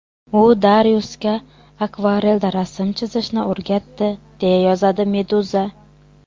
U Dariusga akvarelda rasm chizishni o‘rgatdi, deya yozadi Meduza.